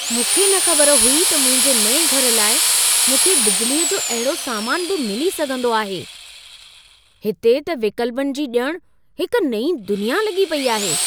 मूंखे न ख़बर हुई त मुंहिंजे नएं घर लाइ मूंखे बिजलीअ जो अहिड़ो सामान बि मिली सघंदो आहे - हिते त विकल्पनि जी ॼण हिक नईं दुनिया लॻी पेई आहे!